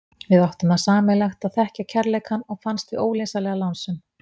Við áttum það sameiginlegt að þekkja kærleikann og fannst við ólýsanlega lánsöm.